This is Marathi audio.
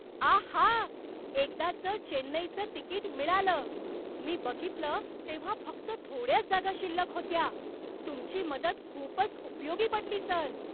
आहा! एकदाचं चेन्नईचं तिकीट मिळालं. मी बघितलं तेव्हा फक्त थोड्याच जागा शिल्लक होत्या. तुमची मदत खूपच उपयोगी पडली, सर!